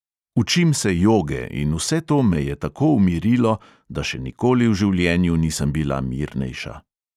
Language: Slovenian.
Učim se joge in vse to me je tako umirilo, da še nikoli v življenju nisem bila mirnejša.